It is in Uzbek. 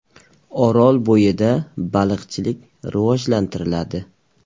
Orolbo‘yida baliqchilik rivojlantiriladi.